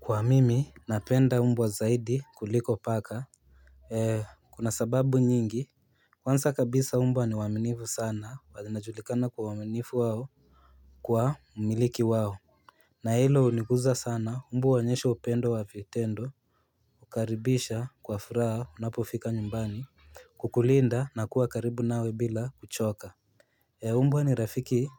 Huwa mimi napenda mbwa zaidi kuliko paka. Kuna sababu nyingi. Kwanza kabisa mbwa ni waaminifu sana wa zinajulikana kwa uaminifu wao, Kwa umiliki wao na hilo huniguza sana mbwa huonyesha upendo wa vitendo Hukaribisha kwa furaha unapofika nyumbani, Kukulinda na kuwa karibu nawe bila kuchoka. Mbwa ni rafiki